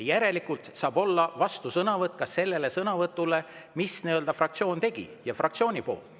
Järelikult saab olla vastusõnavõtt sellele sõnavõtule, mille fraktsioon tegi, fraktsiooni nimel.